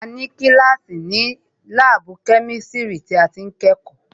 A ní kíláàsì ni láàbù kẹ́misiri tí a ti ń kẹ́kọ̀ọ́